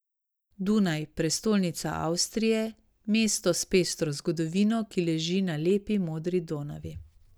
Dunaj, prestolnica Avstrije, mesto s pestro zgodovino, ki leži na lepi modri Donavi.